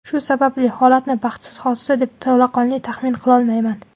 Shu sababli holatni baxtsiz hodisa deb to‘laqonli taxmin qilolmayman.